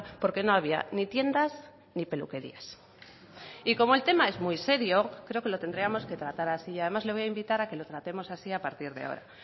porque no había ni tiendas ni peluquerías y como el tema es muy serio creo que lo tendríamos que tratar así y además le voy a invitar a que lo tratemos así a partir de ahora